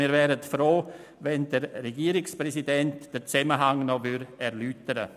Wir wären froh, der Regierungspräsident würde den Zusammenhang noch erläutern.